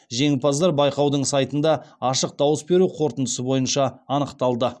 жеңімпаздар байқаудың сайтында ашық дауыс беру қорытындысы бойынша анықталды